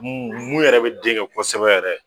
Muuun yɛrɛ bɛ den kɛ kosɛbɛ yɛrɛ.